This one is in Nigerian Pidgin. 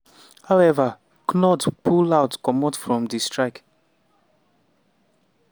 however knut pull out comot from di strike.